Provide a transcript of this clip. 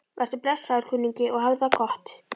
Vertu blessaður, kunningi, og hafðu það gott.